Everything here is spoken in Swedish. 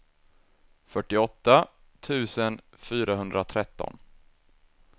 fyrtioåtta tusen fyrahundratretton